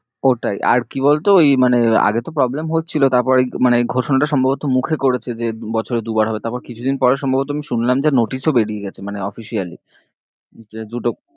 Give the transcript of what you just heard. ওটাই আর কি বলতো ওই মানে আগে তো problem হচ্ছিলো তারপর এই মানে এই ঘোষণাটা সম্ভবত মুখে করেছে যে বছরে দু বার হবে তারপর কিছুদিন পরে সম্ভবত আমি শুনলাম যে notice ও বেরিয়ে গেছে মানে officially যে দুটো